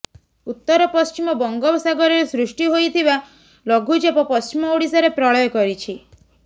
ଉତ୍ତର ପଶ୍ଚିମ ବଙ୍ଗୋପସାଗରରେ ସୃଷ୍ଟି ହୋଇଥିବା ଲଘୁଚାପ ପଶ୍ଚିମ ଓଡ଼ିଶାରେ ପ୍ରଳୟ କରିଛି